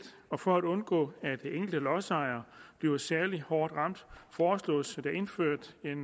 og for at undgå at enkelte lodsejere bliver særlig hårdt ramt foreslås der indført et